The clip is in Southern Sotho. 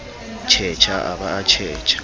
tjhetjha a ba a tjhetjha